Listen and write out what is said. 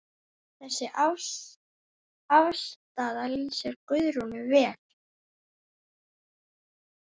Þessi afstaða lýsir Guðrúnu vel.